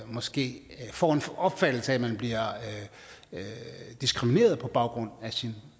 måske får en opfattelse af at man bliver diskrimineret på baggrund af sin